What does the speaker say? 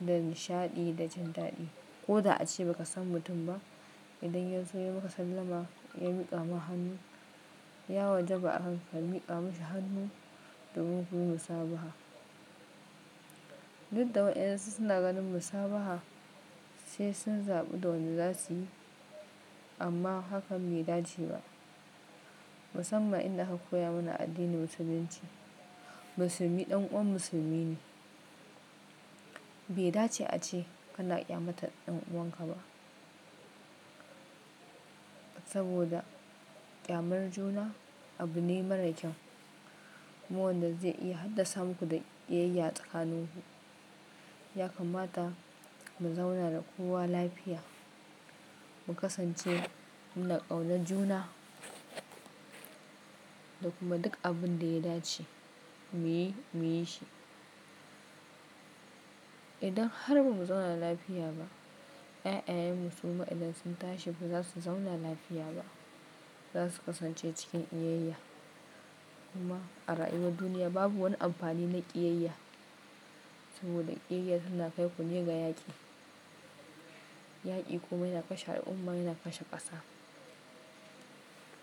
da nishaɗi da jin daɗi. Ko da ace ba ka san mutum ba, idan ya zo ya maka sallama ya miƙa ma hannu, ya wajaba a haka ka miƙa masa hannu domin kun yi musabaha. Duk da wayonsu suna ganin musabaha sai sun zaɓi da wanda za su yi amma hakan bai dace ba. Musamman inda aka koya mana a addinin musulunci, musulmi ɗan uwan musulmi ne. Bai dace ace kana ƙyamatar ɗan uwanka ba saboda ƙyamar juna abu ne marar kyau kuma wanda zai iya haddasa muku da ƙiyayya tsakaninku. Ya kamata mu zauna da kowa lafiya mu kasance muna ƙaunar juna da kuma duk abin da ya dace mu yi, mu yi shi. Idan har ba mu zauna lafiya ba, ƴaƴan musulma idan sun tashi ba za su zauna lafiya ba. Za su kasance cikin ƙiyayya. Kuma a ra'ayin duniya babu wani amfani na ƙiyayya saboda ƙiyayya tana kai ku ne ga yaƙi. Yaƙi kuma yana kashe al'umma, yana kashe ƙasa.